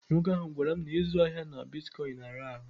Nwoke ahụ gwara m na ịzụ ahịa na bitkọịnị na-ara ahụ.